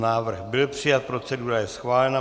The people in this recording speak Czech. Návrh byl přijat, procedura je schválena.